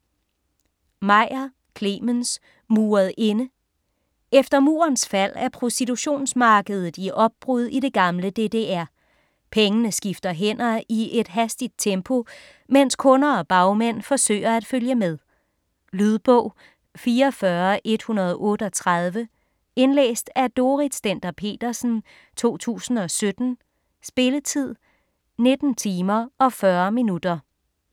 Meyer, Clemens: Muret inde Efter murens fald er prostitutionsmarkedet i opbrud i det gamle DDR. Pengene skifter hænder i et hastigt tempo, mens kunder og bagmænd forsøger at følge med. Lydbog 44138 Indlæst af Dorrit Stender-Petersen, 2017. Spilletid: 19 timer, 40 minutter.